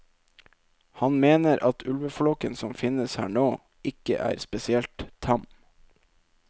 Han mener at ulveflokken som finnes her nå, ikke er spesielt tam.